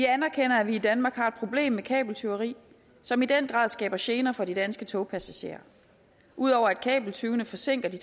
anerkender at vi i danmark har et problem med kabeltyveri som i den grad skaber gener for de danske togpassagerer ud over at kabeltyvene forsinker de